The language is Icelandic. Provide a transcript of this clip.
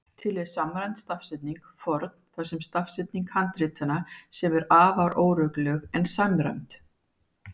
Til er samræmd stafsetning forn þar sem stafsetning handritanna, sem er afar óregluleg, er samræmd.